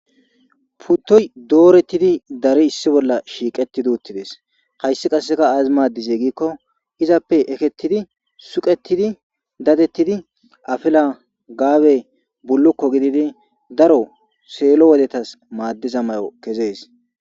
Putoyi dorettid Dari bolla shiqittidi uttides .hayissi qasi azi maadizee gikko izappe eketidi suqettidi dadetiddi afila Gabe bulukko gididi daro selo wodetass madizza mayo ke'es.